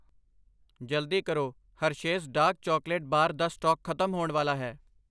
ਜਲਦੀ ਕਰੋ, Hershey's dark chocolate bar ਦਾ ਸਟਾਕ ਖਤਮ ਹੋਣ ਵਾਲਾ ਹੈ I